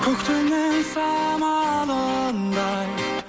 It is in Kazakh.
көктемнің самалындай